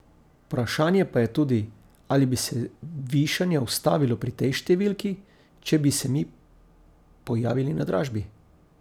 Vprašanje pa je tudi, ali bi se višanje ustavilo pri tej številki, če bi se mi pojavili na dražbi.